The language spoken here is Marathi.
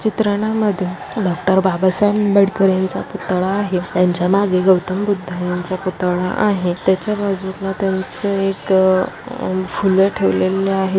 चित्रणामध्ये डॉक्टर बाबा साहेब आंबेडकरांचा पुतळा आहे. त्यांच्या मागे गौतम बुद्ध यांचा पुतळा आहे. त्याच्या बाजूंना त्यांचे एक अह फूल ठेवलेले आहे.